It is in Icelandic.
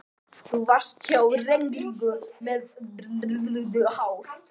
Þú varst há og rengluleg með eldrautt hár.